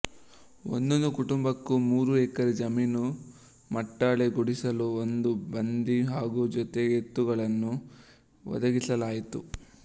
ಒಂದೊಂದು ಕುಟುಂಬಕ್ಕೂ ಮೂರು ಎಕರೆ ಜಮೀನು ಮಟ್ಟಾಳೆ ಗುಡಿಸಲು ಒಂದು ಬಂಡಿ ಹಾಗೂ ಜೊತೆ ಎತ್ತುಗಳನ್ನೂ ಒದಗಿಸಲಾಯಿತು